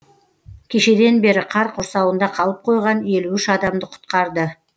кешеден бері қар құрсауында қалып қойған елу үш адамды құтқарды